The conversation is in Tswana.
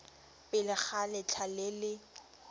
pele ga letlha le le